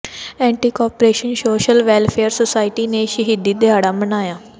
anti corruption social welfare society ਨੇ ਸ਼ਹੀਦੀ ਦਿਹਾੜਾ ਮਨਾਇਆ